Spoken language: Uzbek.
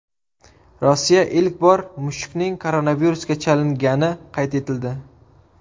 Rossiya ilk bor mushukning koronavirusga chalingani qayd etildi.